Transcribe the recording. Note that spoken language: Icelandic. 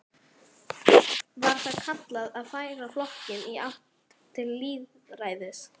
Var það kallað að færa flokkinn í átt til lýðræðis.